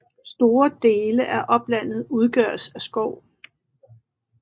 Store dele af oplandet udgøres af skov